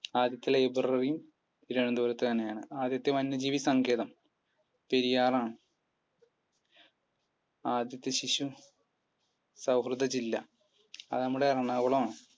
ആദ്യത്തെ library തിരുവനന്തപുരത്തു തന്നെയാണ്. ആദ്യത്തെ വന്യജീവി സങ്കേതം പെരിയാർ ആണ്. ആദ്യത്തെ ശിശു സൗഹൃദ ജില്ല? അത് നമ്മുടെ എറണാകുളം ആണ്